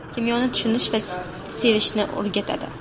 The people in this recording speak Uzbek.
Kimyoni tushunish va sevishni o‘rgatadi.